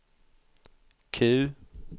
Q